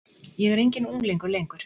Ég er enginn unglingur lengur.